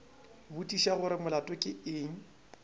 botšiša gore molato ke eng